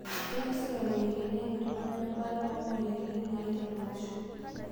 Kenyok sirkali aiteng'en iltung'ana e mbata oo moyariti naaiti ilo osho